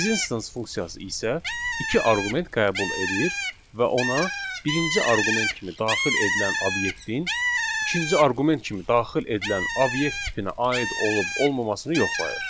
Is instance funksiyası isə iki arqument qəbul edir və ona birinci arqument kimi daxil edilən obyektin ikinci arqument kimi daxil edilən obyekt tipinə aid olub-olmamasını yoxlayır.